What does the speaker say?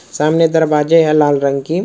सामने दरवाजे है लाल रंग के।